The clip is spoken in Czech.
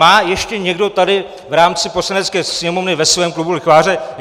Má ještě někdo tady v rámci Poslanecké sněmovny ve svém klubu lichváře?